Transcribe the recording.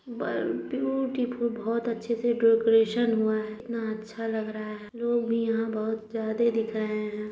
ब ब्यूटीफुल बहुत अच्छे से डेकोरेशन हुआ है कितना अच्छा लग रहा है लोग भी यहाँ बहुत ज़्यादे दिख रहे हैं।